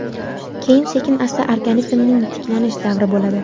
Keyin sekin-asta organizmning tiklanish davri bo‘ladi.